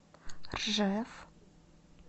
ржев